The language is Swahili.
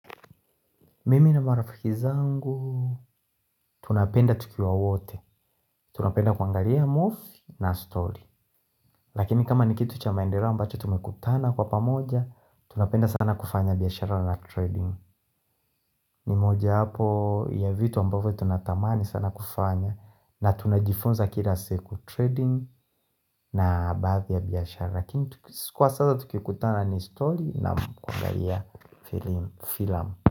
Mimi na marafiki zangu, tunapenda tukiwa wote Tunapenda kuangalia mofi na story Lakini kama ni kitu cha maendeleo ambacho tumekutana kwa pamoja Tunapenda sana kufanya biashara na trading Nimoja wapo ya vitu ambavyo tunatamani sana kufanya na tunajifunza kila siku trading na baadhi ya biashara Lakini kwa sasa tukikutana ni story na kuangalia film.